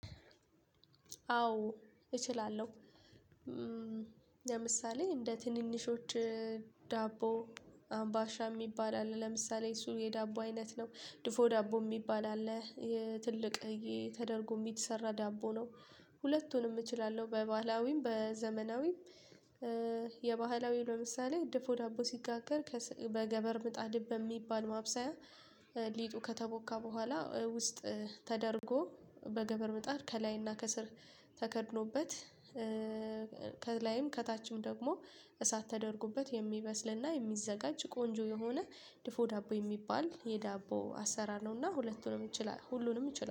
አዎ እችላለሁ። ለምሳሌ እንደ ትንንሾች ዳቦ አምባሻ የሚባል አለ ለምሳሌ እሱ የዳቦ አይነት ነው ድፎ ዳቦ የሚባል አለ እሄ ትልቅዬ ተደርጎ የሚሰራ ዳቦ ነው። ሁለቱንም እችላለሁ በባህላዊም በዘመናዊም የባህላዊ ለምሳሌ ድፎ ዳቦ ሲጋገር በገበር ምጣድ በሚባል ማብሰያ ሊጡ ከተቦካ በኋላ ውስጥ ተደርጎ በገበር ምጣድ ከላይና ከስር ተከድኖበት ከላይም ከታችም ደግሞ እሳት ተደርጎበት የሚበስልና የሚዘጋጅ ቆንጆ የሆነ ድፎ ዳቦ የሚባል የዳቦ አሰራር ነውና። ሁለቱንም እችላል ሁሉንም እችላለሁ